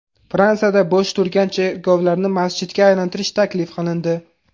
Fransiyada bo‘sh turgan cherkovlarni masjidga aylantirish taklif qilindi.